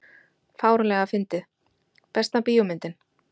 fáránlega fyndið Besta bíómyndin?